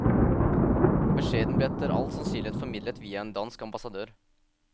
Beskjeden ble etter all sannsynlighet formidlet via en dansk ambassadør.